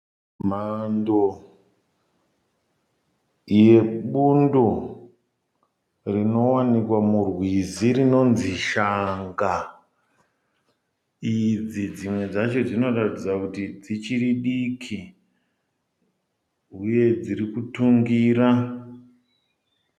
Mhando, yebundo runowanikwa mirwizi runonanzi shanga. Idzi dzimwe dzacho dzinoratidza kuti dzichiri diki, uye dzichirikitingira